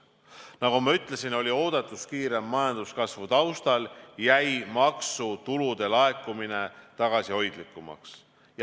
Nagu ma ütlesin, oodatust kiirema majanduskasvu taustal jäi maksutulude laekumine tagasihoidlikumaks.